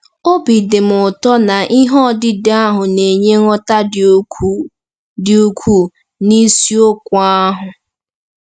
Obi dị m ụtọ na ihe odide ahụ na-enye nghọta dị ukwuu dị ukwuu n'isiokwu ahụ.